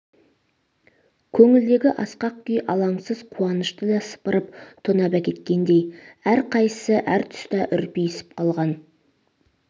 көңілдегі асқақ күй алаңсыз қуанышты да сыпырып тонап әкеткендей әр қайсысы әр тұста үрпиісіп қалған